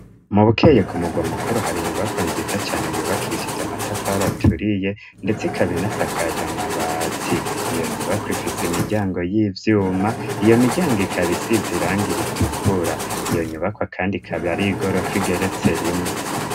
Mu Bukeye ku mugwa mukuru hari inyubakwa nziza cane yubakishije amatafari aturiye ndetse ikaba inasakaje amabati. Iyo nyubakwa ifise imiryango y'ivyuma iyo miryango ikaba isize irangi ritukura, iyo nyubakwa kandi ikabi ari iy'igorofa igeretse rimwe.